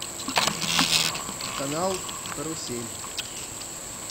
канал карусель